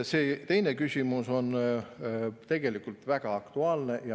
See teine küsimus on tegelikult väga aktuaalne.